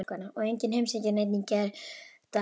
Og enginn heimsækir neinn í gærdag.